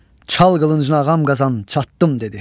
Çal qılıncını Ağam Qazan çattım, dedi.